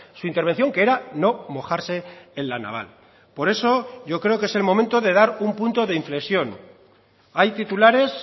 su intervención que era no mojarse en la naval por eso yo creo que es el momento de dar un punto de inflexión hay titulares